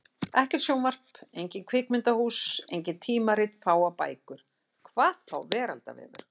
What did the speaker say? Ekkert sjónvarp, engin kvikmyndahús, engin tímarit, fáar bækur. hvað þá veraldarvefur!